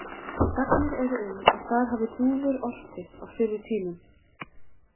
Sagnir eru um að þar hafi dúfur orpið á fyrri tímum.